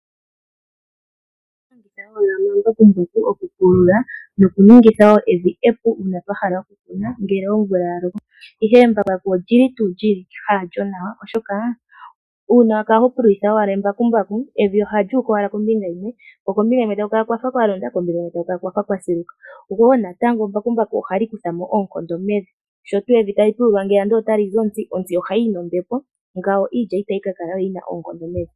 Aantu ohaya longitha omambakumbaku okupulula nokuningitha wo evi epu uuna ya hala okukuna ngele omvula ya loko, ihe embakumbaku halyo tuu ewanawa okulongitha, oshoka uuna wa kala ho pululitha owala embakumbaku evi ohali uka owala kombinga yimwe ko kombinga yimwe taku kala kwa fa kwa londa, ko kombinga onkwawo taku kala kwa fa kwa siluka. Embakumbaku wo natango ohali kutha mo oonkondo mevi. Sho tuu evi tali pululwa, ndele otali zi onzi, onzi ohayi yi nombepo niilya itayi ka kala we yi na oonkondo mevi.